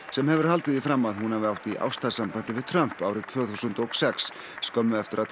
sem hefur haldið því fram að hún hafi átt í ástarsambandi við Trump árið tvö þúsund og sex skömmu eftir að